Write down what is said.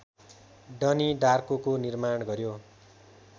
डनी डार्कोको निर्माण गर्‍यो